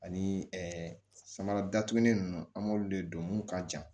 Ani samara datugulen ninnu an b'olu de don mun ka jan